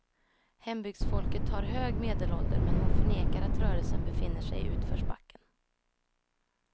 Hembygdsfolket har hög medelålder, men hon förnekar att rörelsen befinner sig i utförsbacken.